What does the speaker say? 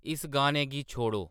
इस गाने गी छोड़ो